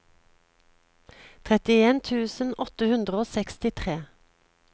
trettien tusen åtte hundre og sekstitre